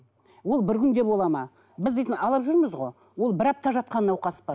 ол бір күнде болады ма біз дейтін алып жүрміз ғой ол бір апта жатқан науқас па